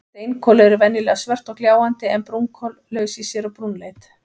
Steinkol eru venjulega svört og gljáandi en brúnkol laus í sér og brúnleit.